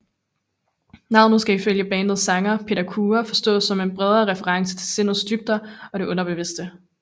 Navnet skal ifølge bandets sanger Peter Kure forstås som en bredere reference til sindets dybder og det underbevidste